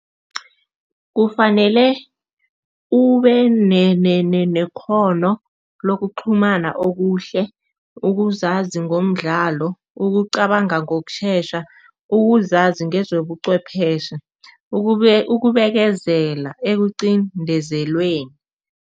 Kufanele ube nekghono lokuqhumana okuhle, ukuzazi ngomdlalo, ukucabanga ngokushesha, ukuzazi ngezobuchwepheshe, ukubekezela ekuqindezelweni.